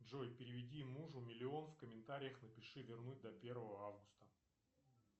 джой переведи мужу миллион в комментариях напиши вернуть до первого августа